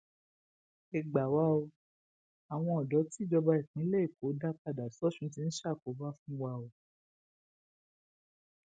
ẹ gbà wá o àwọn odò tìjọba ìpínlẹ èkó dá padà sọsùn tí ń ṣàkóbá fún wa o